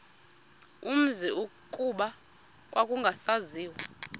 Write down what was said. umzi kuba kwakungasaziwa